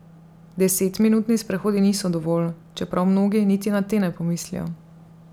Desetminutni sprehodi niso dovolj, čeprav mnogi niti na te ne pomislijo.